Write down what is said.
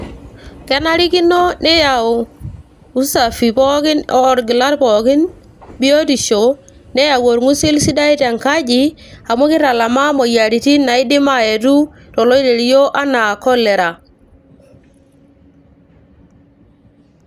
kenarikino neyau usafi pookin orgilat pookin biotisho neyau orng'usil sidai tenkaji amu kitalamaa imoyiaritin naidim ayetu toloirerio anaa cholera.